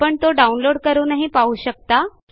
आपण तो download160 करूनही पाहू शकता